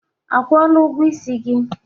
Akwụla ụgwọ isi gị?